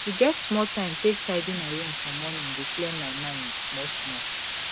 to get small time take tidy my room for morning dey clear my mind small small